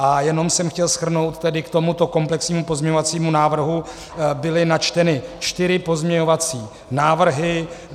A jenom jsem chtěl shrnout, že k tomuto komplexního pozměňovacímu návrhu byly načteny čtyři pozměňovací návrhy.